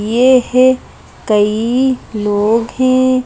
ये है कई लोग हैं।